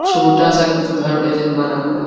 छोटा-सा कुछ घर जैसा बना हुआ --